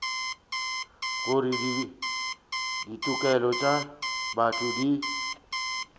gore ditokelo tša botho di